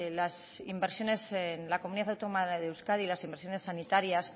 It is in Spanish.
las inversiones en la comunidad autónoma de euskadi las inversiones sanitarias